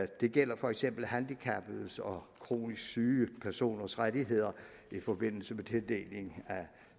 det gælder for eksempel handicappedes og kronisk syge personers rettigheder i forbindelse med tildeling af